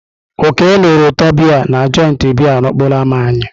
Oke nụrụ ụtọ biya na joịtị biya n'okporo ámá anyị.